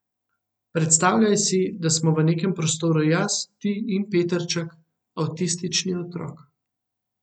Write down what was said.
Predstavljaj si, da smo v nekem prostoru jaz, ti in Petrček, avtistični otrok.